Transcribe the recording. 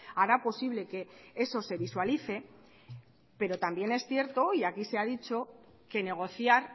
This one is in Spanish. hará posible que eso se visualice pero también es cierto y aquí se ha dicho que negociar